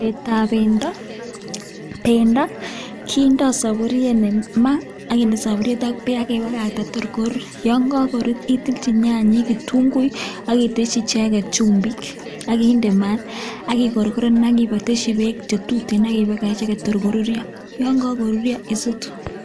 Chobetab bendo, bendo kindo soburiet maa, ak kinde soburiet ak beek ak kebagagta taa korur. Yon kagorur, itilji nyanyik, ketunguik, ak iteshi icheget chumbik, ak inde maa, ak ii gorgoren ak iteshi beek che tuten ak ibagach icheget tor koruryo, yon kagoruryo isutu.